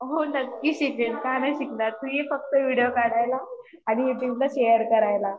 हो नक्की शिकेन का नाही शिकणार तू ये फक्त व्हिडिओ काढायला आणि युट्युब ला शेअर करायला